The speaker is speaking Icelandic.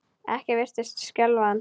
Ekkert virtist skelfa hann.